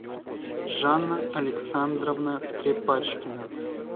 жанна александровна трепачкина